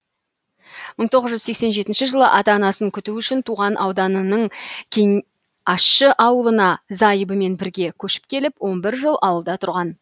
мың тоғыз жүз сексен жетінші жылы ата анасын күту үшін туған ауданының кеңащы ауылына зайыбымен бірге көшіп келіп он бір жыл ауылда тұрған